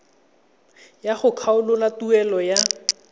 ya go kgakololo tuelo ya